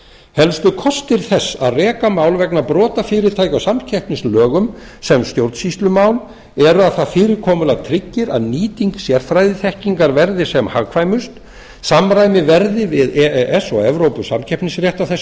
helstu kostir þess að reka mál vegna brota fyrirtækja á samkeppnislögum sem stjórnsýslumál eru að það fyrirkomulag tryggir að nýting sérfræðiþekkingar verði sem hagkvæmust samkvæmt verði við e e s og evrópusamkeppnisrétt á þessu